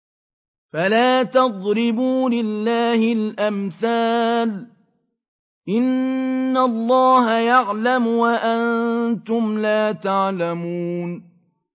فَلَا تَضْرِبُوا لِلَّهِ الْأَمْثَالَ ۚ إِنَّ اللَّهَ يَعْلَمُ وَأَنتُمْ لَا تَعْلَمُونَ